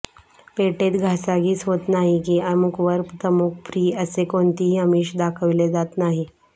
पेठेत घासाघीस होत नाही की अमुकवर तमुक फ्री असे कोणतीही अमिष दाखवले जात नाही